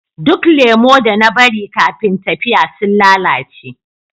Duk lemu da na bari kafin tafiya sun lalace